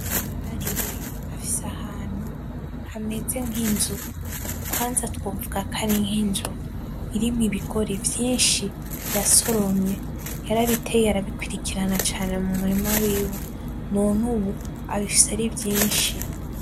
Karire afise ahantu hameze nki inzu kwanza twovuga ko ari nki inzu irimwo ibigori vyinshi yasoromye yarabiteye arabikurikirana cane mumurima wiwe none ubu abifise ari vyinshi.